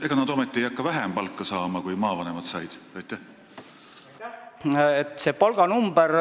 Ega nad ometi hakka vähem palka saama, kui maavanemad said?